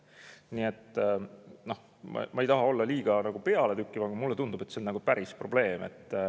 Nii et ma ei taha olla liiga pealetükkiv, aga mulle tundub, et see on päris probleem.